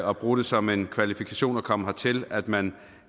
og bruge det som en kvalifikation for at komme hertil at man